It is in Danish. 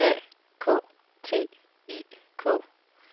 A K T I K